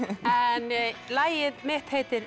en lagið mitt heitir